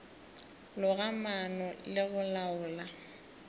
loga maano le go laola